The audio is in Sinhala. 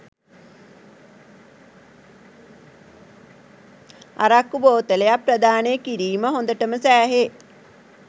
අරක්කු බෝතලයක් ප්‍රදානය කිරීම හොඳටම සෑහේ